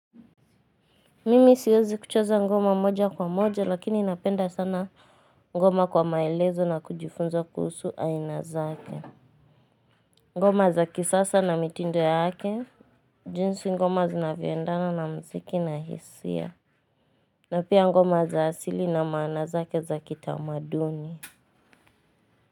Mimi siwezi kucheza ngoma moja kwa moja lakini napenda sana ngoma kwa maelezo na kujifunza kuhusu aina zake. Ngoma za kisasa na mitindo yake jinsi ngoma zinayvoendana na mziki na hisia na pia ngoma za asili na maana zake za kitamaduni.